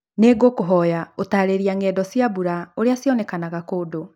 nĩ ngũkũhoy ũtaarĩria ng'endo cia mbũra ĩrĩa cĩonekanaga kundũ